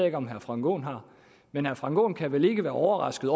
ikke om herre frank aaen har men herre frank aaen kan vel ikke være overrasket